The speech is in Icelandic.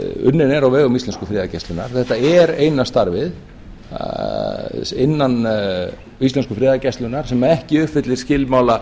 unnin eru á vegum íslensku friðargæslunnar þetta er eina starfið innan íslensku friðargæslunnar sem ekki uppfyllir skilmála